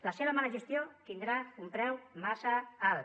la seva mala gestió tindrà un preu massa alt